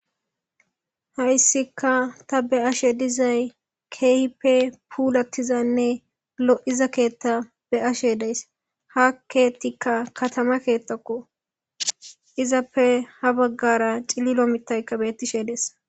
hayssika ta be ashe dizay keehippe puulattizanne lo7iza keetta be ashe deys ha keetikka katama keettakko izappe ha baggara cillilo mitaykka bettishe dees